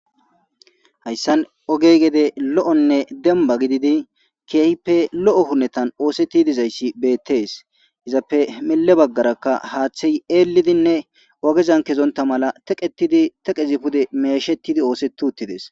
Hayssan gede ogey lo'onne dembba gididi keehippe lo'o hunetan oosetishe dizayssi beettes. Izappe mille baggarakka haaththey eelidinne ogezan kezonta mala teqetidi teqezi pude meeshetidi oosetidi uttides.